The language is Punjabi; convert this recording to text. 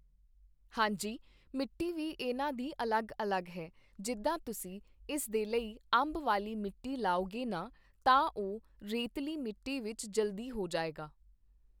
ਹਾਂਜੀ ਮਿੱਟੀ ਵੀ ਇਨ੍ਹਾਂ ਦੀ ਅਲੱਗ ਅਲੱਗ ਹੈ ਜਿੱਦਾਂ ਤੁਸੀਂ ਇਸ ਦੇ ਲਈ ਅੰਬ ਵਾਲੀ ਮਿੱਟੀ ਲਾਉਗੇ ਨਾ ਤਾਂ ਉਹ ਰੇਤਲੀ ਮਿੱਟੀ ਵਿੱਚ ਜਲਦੀ ਹੋ ਜਾਏਗਾ